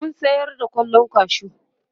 mun sayar da kwallon kwashu